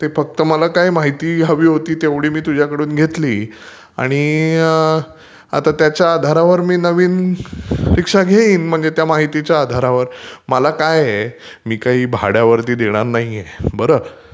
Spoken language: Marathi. ते फक्त मला काय माहिती हवी होती तेवढी मी तुझ्याक़ून घेतली आणि आता त्याच्या आधारावर मी नवीन रीक्षा घेईन म्हणजे त्या माहितीच्या आधारावर. मला काय आहे मी काही भाड्यावर देणार नाहीये बर..